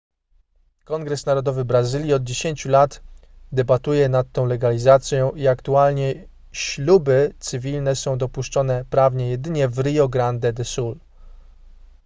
kongres narodowy brazylii od 10 lat debatuje nad tą legalizacją i aktualnie śluby cywilne są dopuszczone prawnie jedynie w rio grande do sul